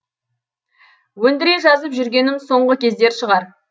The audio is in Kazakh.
өндіре жазып жүргенім соңғы кездер шығар